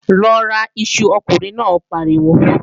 Lọ ra iṣu, ọkùnrin náà pariwo!